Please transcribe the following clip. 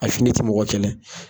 A fini ti mɔgɔ kɛlɛ.